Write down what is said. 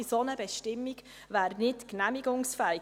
Eine solche Bestimmung wäre nicht genehmigungsfähig.